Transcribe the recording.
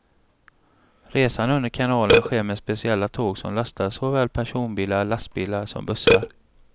Resan under kanalen sker med speciella tåg som lastar såväl personbilar, lastbilar som bussar.